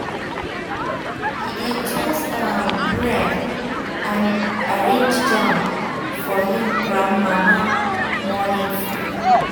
e dey um toast um bread and um arrange jam for him grandmama morning food.